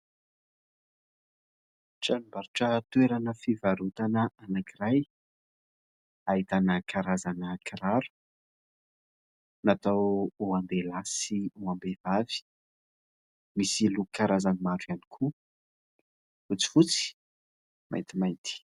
Tranombarotra toerana fivarotana anankiray ahitana karazana kiraro natao ho an-dehilahy sy ho am-behivavy, misy loko karazany maro ihany koa : fotsifotsy, maintimainty.